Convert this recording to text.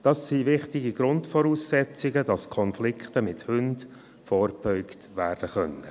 Das sind wichtige Grundvoraussetzungen, damit Konflikten mit Hunden vorgebeugt werden kann.